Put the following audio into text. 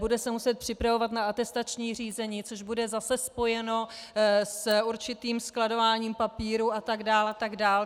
Bude se muset připravovat na atestační řízení, což bude zase spojeno s určitým skladováním papírů, a tak dál a tak dál.